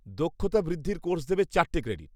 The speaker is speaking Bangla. -দক্ষতা বৃদ্ধির কোর্স দেবে চারটে ক্রেডিট।